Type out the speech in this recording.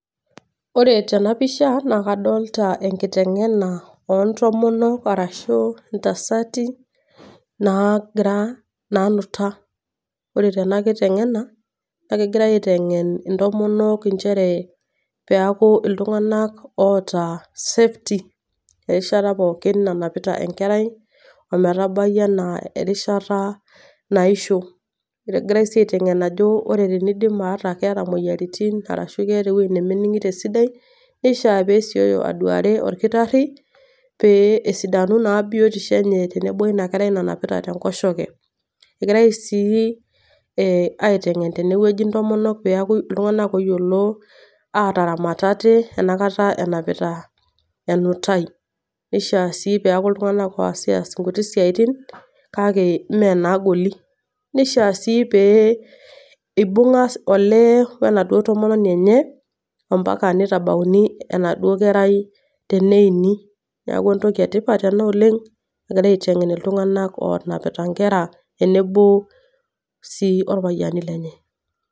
Ore tena pisha, na kadolta enkiteng'ena ontomonok arashu intasati nagira, nanuta. Ore tena kiteng'ena, nakegirai aiteng'en intomonok injere, peeku iltung'anak oota safety erishata pookin nanapita enkerai, ometabayu enaa erishata naisho. Egirai si aiteng'en ajo, ore tenidim aata keeta moyiaritin, arashu keeta ewoi nemening'ito esidai, nishaa pesioyo aduare orkitarri, pee esidanu naa biotisho enye tenebo oina kerai nanapita tenkoshoke. Eg